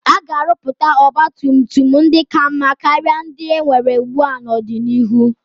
A ga-arụpụta ọgba tum tum ndị ka mma karịa ndị enwere ugbua n'ọdịnihu.